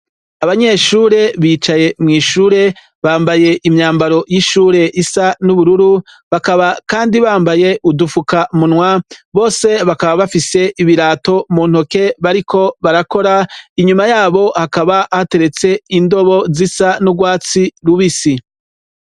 Abanyeshure bicaye mw'ishure bambaye imyambaro y'ishure isa n'ubururu, bakaba kandi bambaye udupfukamunwa. Bose bakaba bafise ibirato mu ntoke, bariko barakora, inyuma yabo hakaba hateretse indobo zisa n'urwatsi rubisi.